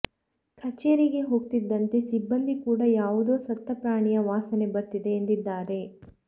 ಕಚೇರಿಗೆ ಹೋಗ್ತಿದ್ದಂತೆ ಸಿಬ್ಬಂದಿ ಕೂಡ ಯಾವುದೋ ಸತ್ತ ಪ್ರಾಣಿಯ ವಾಸನೆ ಬರ್ತಿದೆ ಎಂದಿದ್ದಾರೆ